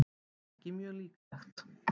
ekki mjög líklegt